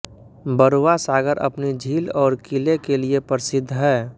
बरूआ सागर अपनी झील और किले के लिए प्रसिद्ध है